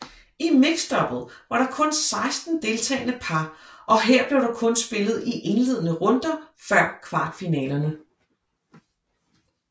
I mixdouble var der kun 16 deltagende par og her blev der kun spillet 1 indledende runder før kvartfinalerne